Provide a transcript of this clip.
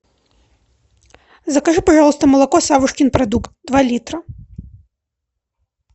закажи пожалуйста молоко савушкин продукт два литра